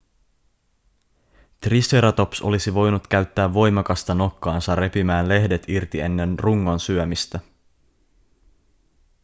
triceratops olisi voinut käyttää voimakasta nokkaansa repimään lehdet irti ennen rungon syömistä